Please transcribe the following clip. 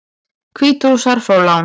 Hvítrússar fá lán